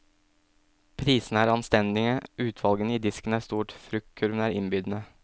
Prisene er anstendige, utvalget i disken er stort, fruktkurven innbydende.